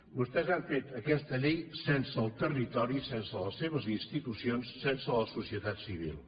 vostès han fet aquesta llei sense el territori sense les seves institucions i sense la societat civil